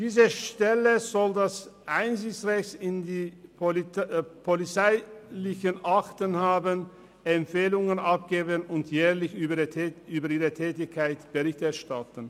Diese Stelle soll das Einsichtsrecht in die polizeilichen Akten haben, Empfehlungen abgeben und jährlich über ihre Tätigkeit Bericht erstatten.